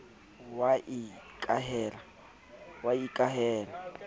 wa ikahela ka ho sa